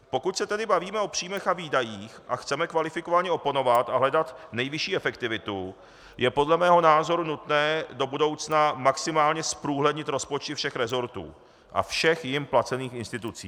Pokud se tedy bavíme o příjmech a výdajích a chceme kvalifikovaně oponovat a hledat nejvyšší efektivitu, je podle mého názoru nutné do budoucna maximálně zprůhlednit rozpočty všech resortů a všech jím placených institucí.